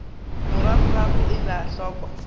morago ga go ela hloko